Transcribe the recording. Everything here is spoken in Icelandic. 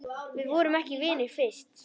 Við vorum ekki vinir fyrst.